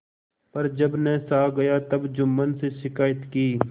पर जब न सहा गया तब जुम्मन से शिकायत की